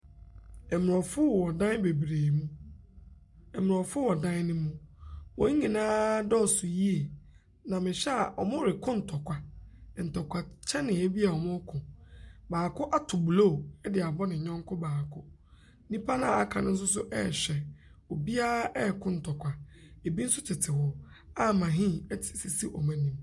Ɛmborɔfo wowɔ dan bebree mu. Ɛmborɔfo wɔ dan ne mu. Wonyinaa dɔɔso yie na me hwɛ a ɔmo reko ntɔkwa. Ntɔkwa kyɛnee bi a ɔmo ko. Baako ato blo ade abɔ ne nyɛnko baako. Nipa naa aka no soso ɛɛhwɛ. Obia ɛko ntokwa, ebi so tete hɔ a mahin ɛsisi ɔmo enim.